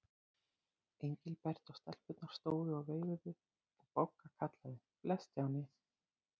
Engilbert og stelpurnar stóðu og veifuðu og Bogga kallaði: Bless Stjáni.